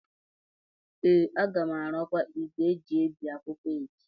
ee, a ga m arụkwa igwe eji ebi akwụkwọ a echi